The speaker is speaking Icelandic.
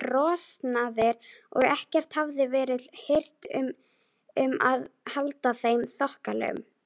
trosnaðir og ekkert hafði verið hirt um að halda þeim þokkalegum.